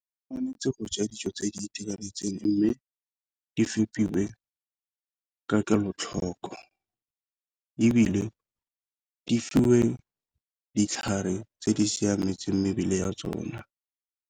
Tshwanetse go ja dijo tse di itekanetseng mme di fepiwe ke ka kelotlhoko, ebile di fiwe ditlhare tse di siametseng mebele ya tsona.